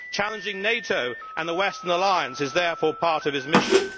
Challenging NATO and the Western alliance is therefore part of his mission.